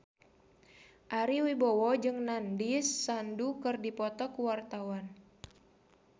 Ari Wibowo jeung Nandish Sandhu keur dipoto ku wartawan